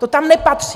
To tam nepatří!